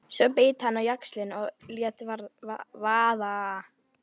Svo beit hann á jaxlinn og lét vaða.